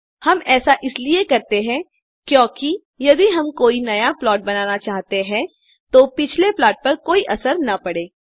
हम ऐसा इसलिए करते हैं क्योकि यदि हम कोई नया प्लॉट बनाना चाहें तो पिछले प्लाट पर कोई असर न पड़े